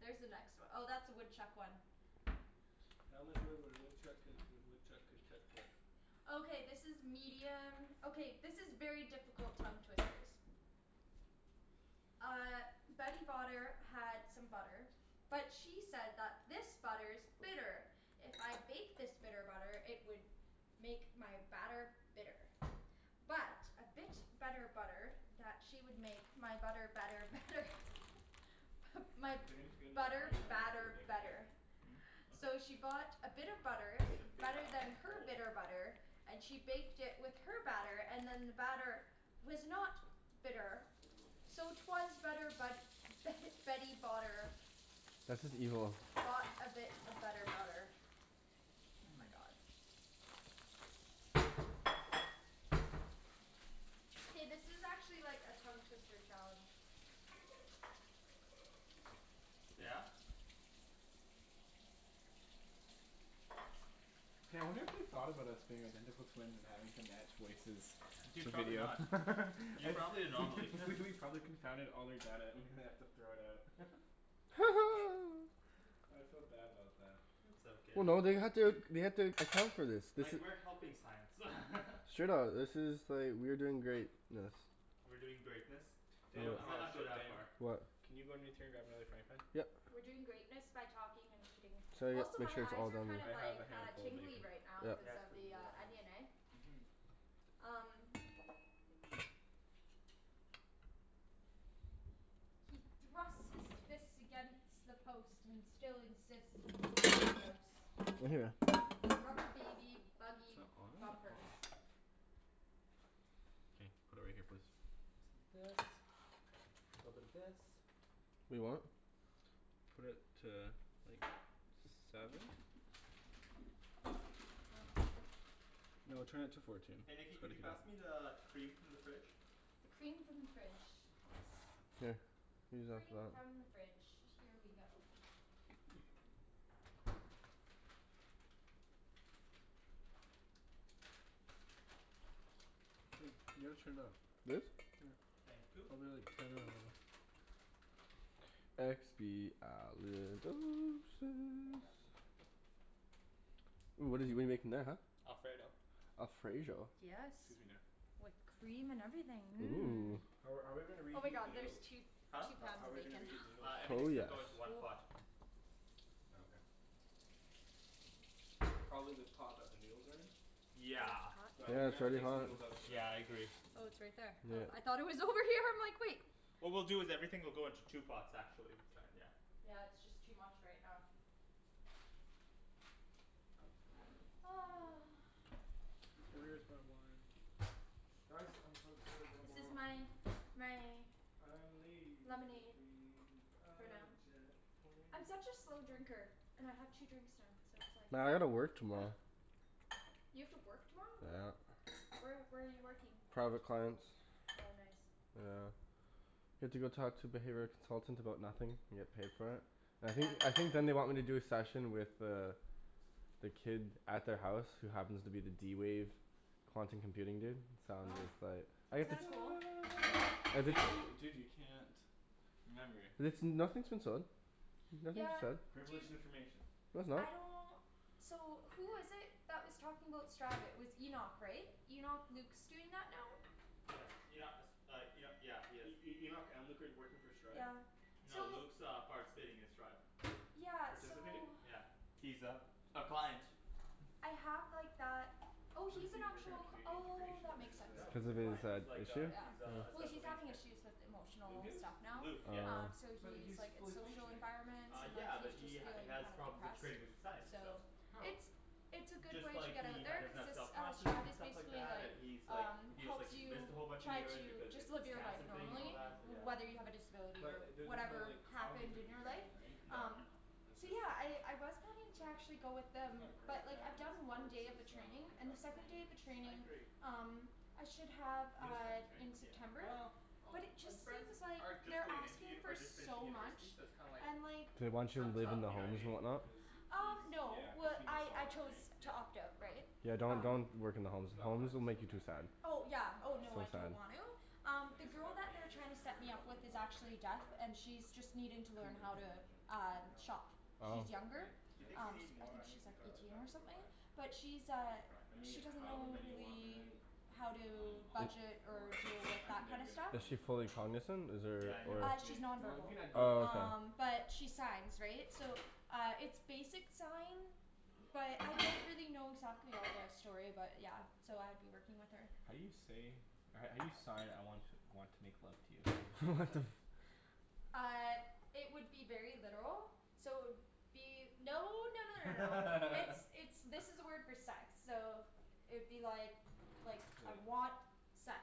There's the next one. Oh that's the woodchuck one. How much wood would a woodchuck could if a woodchuck could chuck wood? Okay this is medium, okay this is very difficult tongue twisters. Uh Betty Botter had some butter, but she said that this butter is bitter. If I bake this bitter butter, it would make my batter bitter. But a bit of better butter that she would make my butter better better. My If you're going to get another butter frying pan I'm gonna put the batter bacon here? better. Mhm. So she bought a bit of butter, better than her bitter butter, and she baked it with her batter, and then the batter was not bitter. So it was better but Betty Botter That's just evil. Bought a bit of better butter. Oh my god. Hey this is actually like a tongue twister challenge. Yeah? K, I wonder if they've thought about us being identical twins and having to match voices Dude to the probably video. not. You're probably an anomaly. I, we we've probably confounded all their data and they have to throw it out. I feel bad about them. It's Well okay. no they had to, they had to account for this. This Like, is we're helping science. Straight up. This is like, we're doing greatness. We're doing greatness? I mi, Daniel, I might uh not go shit that What Daniel, far. What? can you run to grab me another frying pan? Yep. We're doing greatness by talking and eating. So yeah, Also make my sure it's eyes all are done. kind I of have like a handful of tingly bacon. right Yep. cuz of the onion eh? Mhm. Um. He thrusts his fist against the post and still insists he sees the ghost. Right here. Rubber baby buggy bumpers. Okay. Put it right here please. Little bit of this, little bit of this. Wait what? Put it to like, seven? Huh. No, turn it to fourteen. Hey Nikki It's could gotta you be pass me the cream from the fridge? The cream from the fridge. Yes. Here. Use that for Cream from that. the fridge. Here we go. Wait, you gotta turn it up. This? Yeah, Thank you. probably like ten or eleven. Here you Expialidocious. go. Ooh what did we make in that huh? Alfredo. Alfredo? Yes. Excuse me there. With cream and everything, Ooh. mmm. Are are we gonna Oh my reheat the God there's noodles? two, Huh? two How pounds how are of we gonna bacon. reheat the noodles? Uh, Oh everything's gonna yes. go into one pot. Oh okay. Probably the pot that the noodles are in? Is it Yeah. hot But I think Yeah we're it's gonna there? have to already take the hot. noodles out for that. Yeah I agree. Oh it's right there. Oh I Yep. thought it was over here, I'm like wait. What we'll do is that everything will go into two pots, Okay actually. Kinda yeah. yeah. Yeah it's just too much right now. Where is my wine? Guys I'm to go to work This is tomorrow. my, my. I'm Lemonade. leaving For on now. a jet plane, I'm such a slow don't drinker. know... And I have two drinks now. So it's Well I gotta work like. tomorrow. You have to work tomorrow, what? Yeah. Where where are you working? Private clients. Oh nice. Yeah. You have to go talk to the behavioral consultants about nothing? And get paid for it? I think, Yeah. I think then they want me to do a session with the the kid at their house who happens to be the d-wave quantum computing dude, so Wow. it's but That's kind of cool. Dude, dude you can't... Remember. Listen, nothing's in stone. Nothing's Yeah. set. Dude. Privileged information. No it's not. I don't. So who was it that was talking about Stride, it was Enoch right? Enoch, Luke's doing that now? Yeah, Enoch, uh Enoch, yeah he is. E- E- Enoch and Luke are working for Stride? Yeah, No so. Luke's uh participating in Stride. Yeah, so. Participating? Yeah. He's a, a client. I have like that, oh What is he's an he, working at actual, Canadian oh Integration, that makes sense. Oh No cuz he's or? a of his client, he's like issue? a he Yeah. is a Well special he's needs having kid. issues with Luke emotional is? stuff now, Luke, yeah. um Oh. so But he's he's like his fully social functioning. environment Uh and yeah he's but just he feeling has kind of problems depressed, integrating with society, so. so. How? It's, it's a It's good just way to like get out he, he there doesn't cuz have it's self uh confidence Stride and is stuff like basically that, like, and he's like um he's like helps he missed you a whole bunch of try years to because of just the live your life cancer thing and all normally that, yeah. whether you have Oh. a disability or But there's no whatever like, happened cognitive in your life, impairment right? No no um no. No, it's So just, yeah okay. I I was planning It's to like. actually go with He's them, got a great but like I've family done one support day of the training system, he's and got the second day of the friends. I training agree. um I should have Real uh friends right? in Yeah. September, Well, all but it just his friends seems like are just they're going into, asking for are just finishing so much, university, so it's kinda like and like They want you to kinda live tough, in the you know what I homes mean? and whatnot? Cuz he Um no yeah cuz well he missed I all I that chose right? to Yeah. opt out right? Yeah don't, Um don't work in He the homes. he's got Homes plans will to go make you too back right? sad. Oh I yeah don't oh So know. no I sad. don't want to. Um I the guess at girl that that point they're you're just trying to set worried me about up with living is life, hey? actually deaf, and Yeah. she's just needing I to couldn't learn even how to imagine. um I know. shop. Oh. She's younger, Like... Do you think we um need I more think she's onions and like garlic? No eighteen I or think we're something. fine. But she's I think uh, we're fine. I mean she doesn't however know many you want man. really how Um, I'm to all Is budget for or deal it. with I can that never kinda get enough stuff. Is she onion or fully garlic. cognizant? Is there, Yeah I know or what Uh, you she's mean. non You know, we verbal. can add garlic Oh salt. okay. Um but she signs, right? So uh it's basic sign, but, I don't really know exactly all the story about it, yeah. So I'd be working with her. How do you say, how do you sign I want want to make love to you? What the Uh it would be very literal, so it would be... No no no no no. It's, it's, this is the word for sex. So it would be like like, Yeah. I want sex.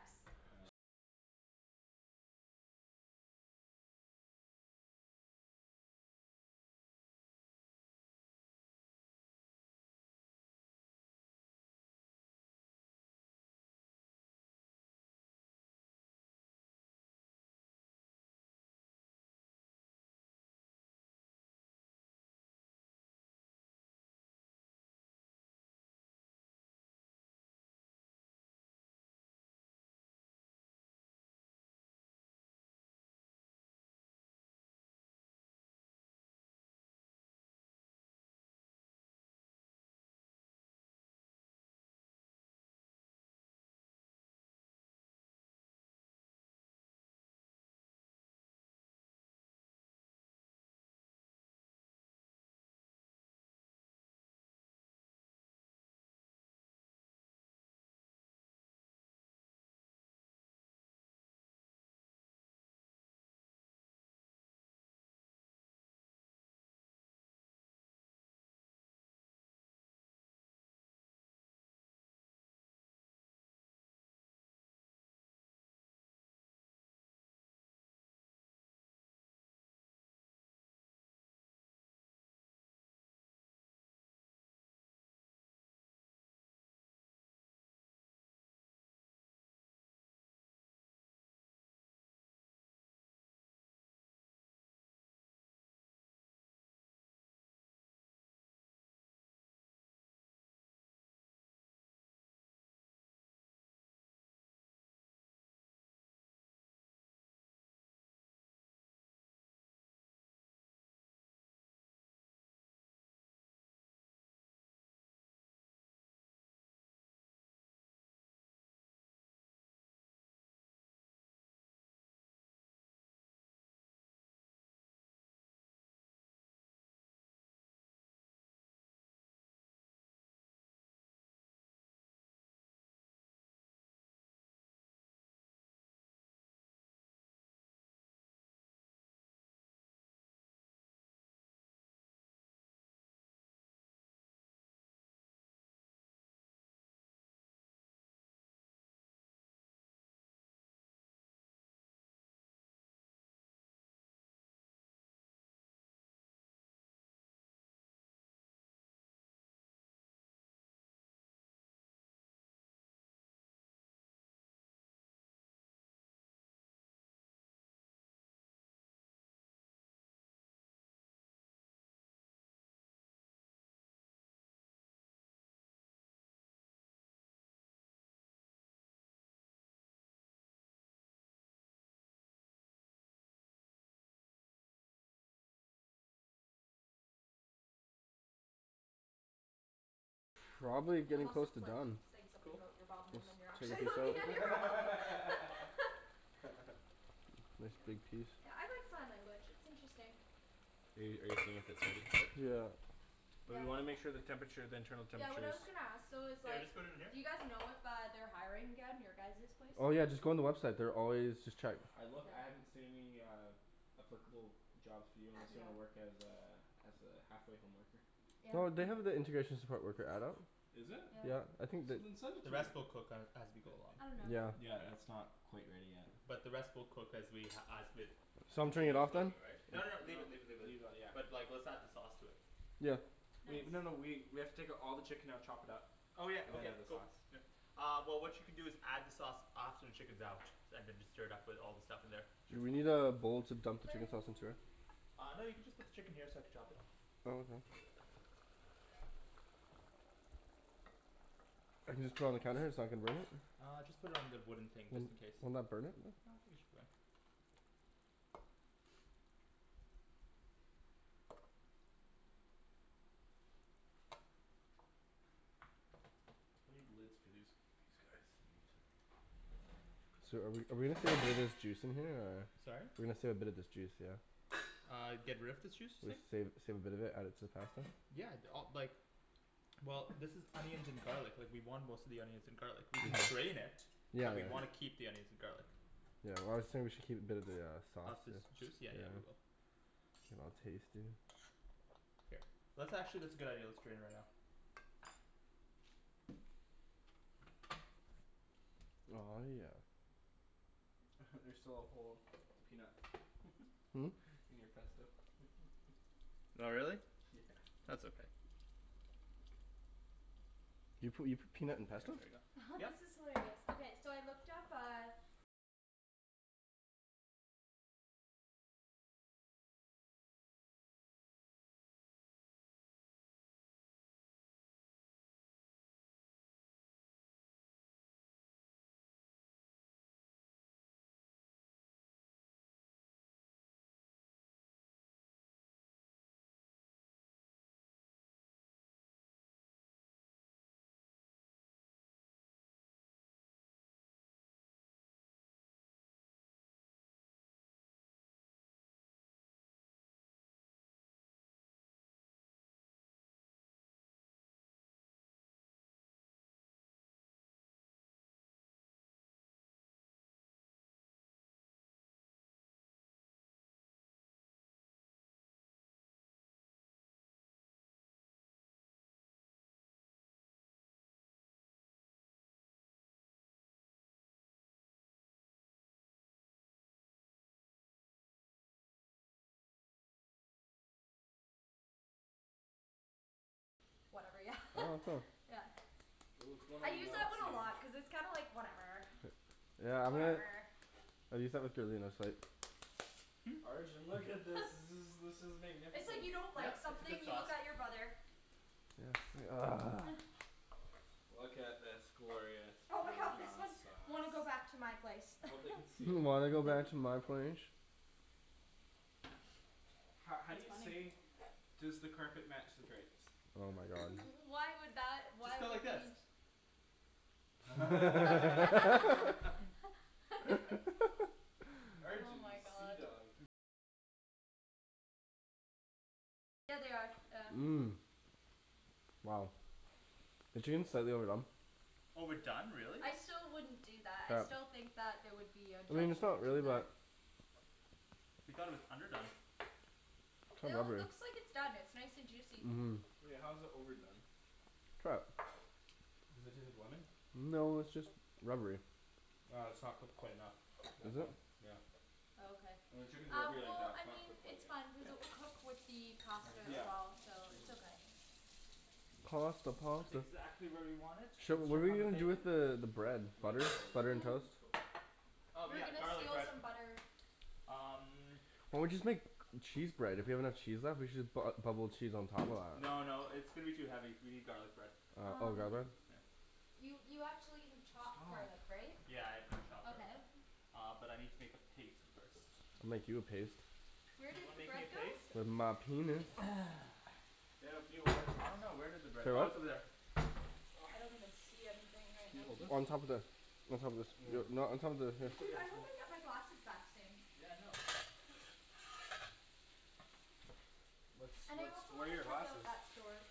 Unless it's like, saying something Cool. about your bum and then you're Take a actually piece looking at out. your bum. Nice Yeah. big piece. Yeah I like sign language, it's interesting. Hey, are you seeing if it's already cooked? Yeah. But we Yeah. wanna make sure the temperature, the internal Yeah what temperature I is... was gonna ask though is So I like, just put it in here? do you guys know if uh they're hiring again? Your guys' place? Oh yeah just go on the website. They're always, just check. I look, I haven't Okay. seen uh any applicable jobs for you unless you want to work as Okay. a, as a halfway home worker. Yeah. No, they have the integration support worker adult. Is it? Yeah. Yeah. I think You that... didn't send it The to me. rest we'll cook as as we go along. I don't know. Yeah. Yeah it's not quite ready yet. But the rest we'll cook as we as with So I'm turning it continue off then? cooking right? No No, no, leave it leave it leave it. leave it yeah. But like let's add the sauce to it. Yeah. Nice. Wait, no no we we have to take all the chicken out, chop it up, Oh yeah. and then Okay. add the Cool. sauce. Uh well what you can do is add the sauce after the chicken's out, and then just stir it up with all the stuff in there. Sure, we need a bowl to dump the chicken sauce into Flirting. here. Uh no you can just put the chicken here so I could chop it. Oh okay. I can just put it on the counter? It's not gonna burn it? Uh just put it on the wooden thing Would, just in case. wouldn't that burn it? No, I think it should be fine. I need the lids for these, these guys. So are we are we gonna save a little bit of this juice in here, or? Sorry? We're gonna save a bit of this juice, yeah? Uh, get rid of this juice you're saying? Save, save a bit of it, add it to the pasta? Yeah, d- uh like Well, this is onions and garlic. Like, we want most of the onions and garlic. We can strain it. Yeah But we yeah. wanna keep the onions and garlic. Yeah, well I was saying we should keep a bit of the uh, Of sauce, this yeah. juice? Yeah yeah we will. I'll taste it. Here. Let's actually, that's a good idea. Let's drain it right now. Aw, yeah. There's still a whole peanut. Hmm? In your pesto. Oh really? Yeah. That's okay. Do you put, you put peanut in pesto? This Yep. is hilarious. Okay, so I looked up, uh Whatever. Yeah Oh cool. Yeah. Ooh, it's going I all use that one a melty. lot, cuz it's kind of like, whatever Yeah, I'm gonna I use that with Darlene, I was like Hmm? Arjan, look at this. This is this is It's like, magnificent. you don't like Yep, it's a something, good you sauce. look at your brother. Yeah Look at this glorious Oh my god, this parmesan one, sauce. "Wanna go back to my place?" "Hmm, Wanna go back to my place?" Ho- how do It's you say funny. "Does the carpet match the drapes?" Oh my god. Why would that, Just why go like would you this. need t- Oh Arjan, you my god. seadog. Mmm. Wow. The team said they were done. Oh we're done, really? I still wouldn't do that. I Yep. still think that there would be a I mean it's judgment not really, in there. but You thought it was underdone. How No, it lovely. looks like it's done. It's nice and juicy. Mmm. Wait, how is it overdone? Try it. Does it taste like lemon? No it's just rubbery. Ah, it's not cooked quite enough. That's Is it? fine. Yeah. Oh okay. Uh, when chicken's Uh, rubbery like well, that, it's I not mean cooked quite it's yet. fine, cuz it K. will cook with the There pasta you go. as well, so Mhm. it's okay. Pasta, That's pasta. exactly where we want it. Sh- Let's what are check we on the gonna do bacon. with the the Nah. bread? Not even Butter? close. Butter and toast? Cool. Oh We're yeah, gonna garlic steal bread. some butter. Um Or we just make cheese bread? If we have enough cheese left, we should just bu- uh bubble cheese on top of that. No no, it's gonna be too heavy. We need garlic bread. Uh oh the garlic bread? Um Here. You you actually have chopped Stop. garlic right? Yeah, I've gotta chop that. Okay. Uh, but I need to make a paste first. I'll make you a paste. Where Do you did wanna the make me a bread go? paste? With my penis. I don't know, where did the bread, oh it's over there. I don't even see anything right Can you now. hold On top this? of the On top of this. Yo, no, on top of the, here. Dude, I hope I get my glasses back soon. Yeah I know. What's, And I what's, also where are wanna your check out glasses? that store.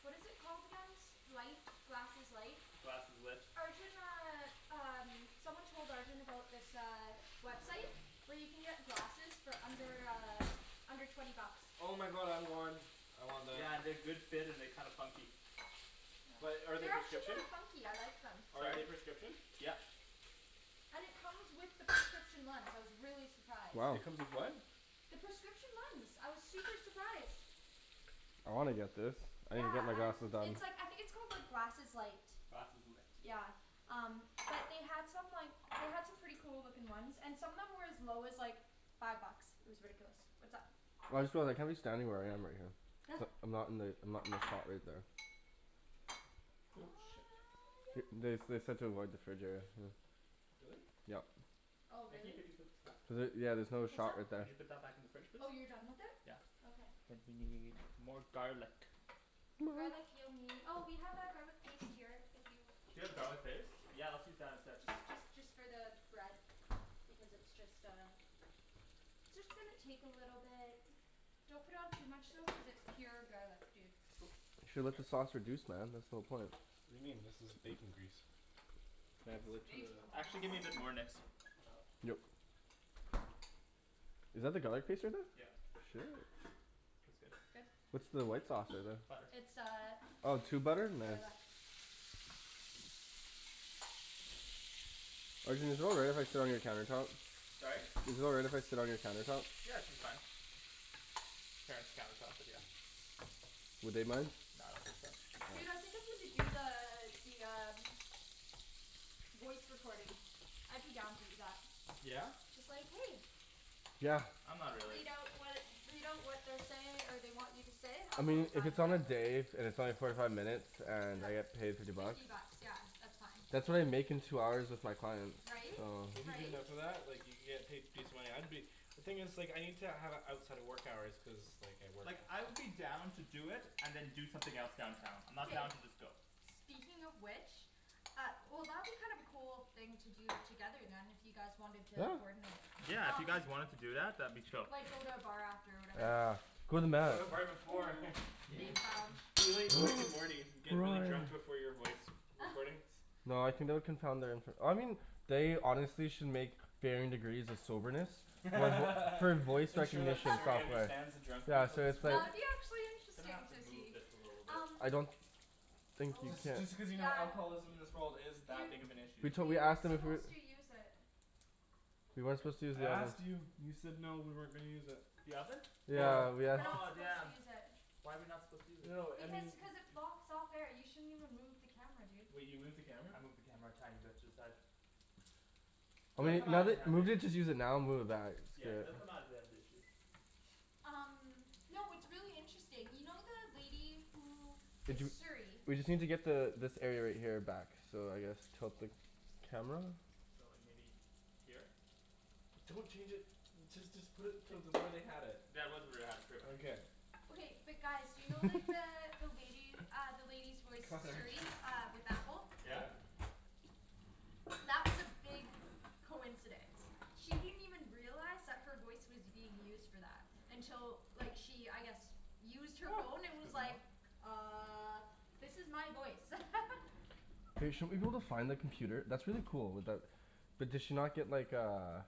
What is it called again? S- light, glasses light? Glasseslit. Arjan uh, um, someone told Arjan about this uh, website where you can get glasses for under, uh under twenty bucks. Oh my god, I want. I want that. Yeah, they're good fit and they're kinda funky. But are they They're actually kinda prescription? funky, I like them. Are Sorry? they prescription? Yep. And it comes with the prescription lens. I was really surprised. Wow. It comes with what? The prescription lens, I was super surprised. I wanna get this. I need to get Yeah, my I, glasses done. it's like, I think it's called like glasses light. Glasseslit. Yeah. Um, but they had some like, they had some pretty cool looking ones, and some of them were as low as, like five bucks. It was ridiculous. What's up? Well I just feel like, I'm just standing where I am right here. I'm not in the, I'm not in the spot right there. Cool. Shit. Th- Yep. they they said to avoid the fridge area, yeah. Really? Yep. Oh Nikki really? could you put this back? Was it, yeah there's another What's shot up? right Could there. you put that back in the fridge please? Oh you're done with it? Yeah. Okay. I think we need more garlic. Garlic you'll nee- oh we have our garlic paste here, if you Do you have garlic paste? Yeah let's use that instead. Just just just for the bread. Because it's just uh it's just gonna take a little bit. Don't put on too much though cuz it's pure garlic, dude. Cool. You should let the sauce reduce man, that's the whole point. What do you mean? This is bacon grease. Can I It's have the lid to the bacon grease. Actually give me a bit more, Nikks. Yep. Is that the garlic paste right there? Yeah. Shit. That's good. Good. What's the white sauce in there? Butter. It's uh Oh tube butter? Nice. garlic. Arjan is it all right if I sit on your countertop? Sorry? Is it alright if I sit on your countertop? Yeah, it should be fine. Parents' countertop, but yeah. Would they mind? Nah, I don't think so. Dude, I think I'm gonna do the, the um voice recording. I'd be down to do that. Yeah? Just like "Hey!" Yeah. I'm not really. Read out what, read out what they're say, or they want you to say. I I'm mean totally if fine it's with on that. a day, and it's only forty five minutes, and Yeah. I get paid fifty bucks? Fifty bucks. Yeah. That's fine. That's what I make in two hours with my clients. Right? If you get Right? enough of that, like you can get paid decent money. I'd be The thing is like, I need to have it outside of work hours, cuz like I work. Like I would be down to do it and then do something else downtown. I'm not down K. to just go. Speaking of which Uh, well that'd be kind of a cool thing to do together then, if you guys wanted Yeah. to coordinate. Yeah, if you guys wanted to do that, that'd be chill. Like go to a bar after or whatever. Ah. Go to the bar before. Yeah. Big lounge. Be like Rick and Morty. Get really drunk before your voice recordings. No, I think that would confound their infor- I mean they honestly should make varying degrees of soberness for voice Make sure that recognition Siri software. understands the Yeah, drunkards of so this it's like Yeah, world. it'd be actually Gonna have interesting to so move see, this a little bit. um I don't think you Oh Just can. just because you know Yeah. alcoholism in this world is that Dude big of an issue. We'd we totally ask weren't them if we supposed to use it. We weren't What? supposed to use I the oven. asked you. You said no, we weren't gonna use it. The oven? Yeah. Yeah. We're not Oh supposed to damn. use it. Why are we not supposed to use it? No I Because mean cuz it's blocks out there, you shouldn't even move the camera dude. Wait, you moved the camera? I moved the camera a tiny bit to the side. Well They'll come maybe, out let if they it, have an maybe issue. just use it now and move it back, it's Yeah good. they'll come out if they have an issue. Um Y'know what's really interesting, you know the lady who Did is you, Siri. we just need to get the, this area right here back. So I guess tilt the camera? So like maybe Here? Don't change it. Just just put it to the way they had it. That was where they had it, pretty much. Okay but guys, do you know like the, the lady, uh the lady's voice Cutlery. Siri uh with Apple? Yeah? That was a big coincidence. She didn't even realize that her voice was being used for that. Until like she, I guess used her phone and was Good enough. like "Uh." "This is my voice." Hey, shouldn't we be able to find the computer, that's really cool, with that But did she not get like, uh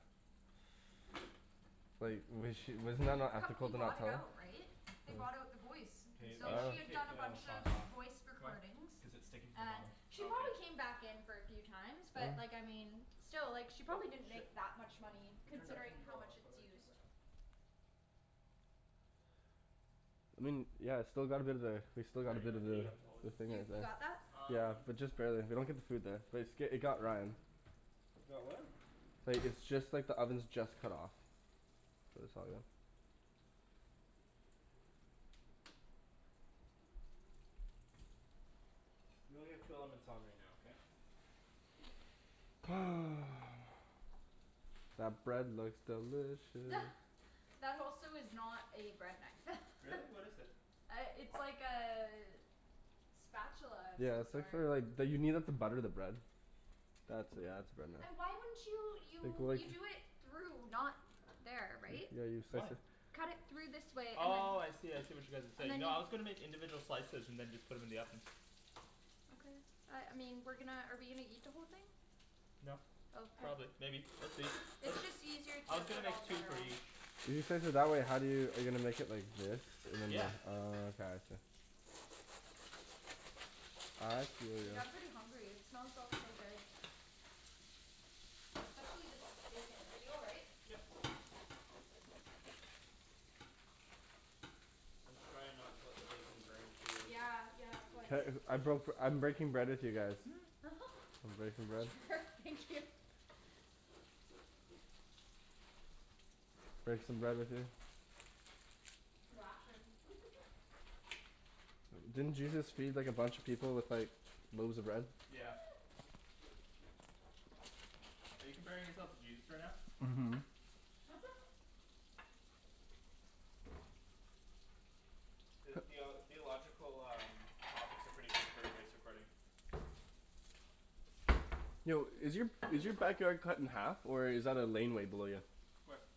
Like was she, wasn't that not ethical Company to not bought it tell her? out, right? They bought out the voice. K, we So have she to had Oh. take done a the bunch of sauce off. voice Why? recordings. Cuz it's sticking to the And bottom. she Oh okay. probably came back in for a few times, but like I mean still like she Oh probably didn't shit. make that much money I turned it, I turned considering it how all off. much How it's do I turn used. this on? I mean, yeah it's still got a bit of there, we still got a bit of the You, you got that? Um Just barely. They don't get the food there. But it's, i- it got Ryan. It got what? Like, it's just like the oven's just cut off. So it's all good. We only have two elements on right now, okay? That bread looks delicious. That also is not a bread knife. Really? What is it? Uh, it's like a spatula of some Yeah it's like sort. for like, d- you need that to butter the bread. That's it, you have to burn that. Why wouldn't you, Like you, like you do it through, not there, right? Yeah you Why? slice it Cut it through this way, and then Oh, I see, I see what you guys are and saying. then No I was gonna make individual slices and then just put 'em in the oven. Okay. Uh, I mean, we're gonna, are we gonna eat the whole thing? No. Probably. Maybe. We'll see. It's It's just easier I to was gonna put make all the two butter for on. each. If you slice it that way, how do you, are you gonna make it like this? And then, Yeah. oh okay. Uh I Dude, see. I'm pretty hungry, it smells so so good. Especially this bacon. Are you all right? Yep. I'm just trying not to let the bacon burn too. Yeah, yeah, of These course nice I dishes. broke, I'm breaking bread with you guys. Breaking bread. Thank you. Break some bread with me. Didn't Jesus feed like a bunch of people with like loaves of bread? Yeah. Are you comparing yourself to Jesus right now? Mhm. Theo- theological, um topics are pretty good for a voice recording. Yo, is your is your backyard cut in half or is that a laneway below you? Where?